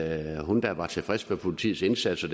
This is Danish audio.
at hun da var tilfreds med politiets indsats og